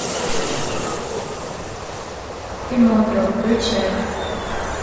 пиноккио включай